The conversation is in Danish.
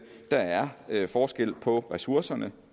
der er er forskel på ressourcerne